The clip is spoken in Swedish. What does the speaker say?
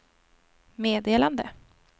meddelande